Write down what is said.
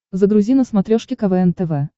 загрузи на смотрешке квн тв